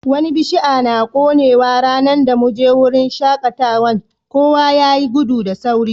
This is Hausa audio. Wani bishia na konewa ranan da mun je wurin shakatawan, kowa ya yi gudu da sauri.